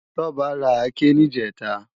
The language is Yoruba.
Toba rá àké nijètá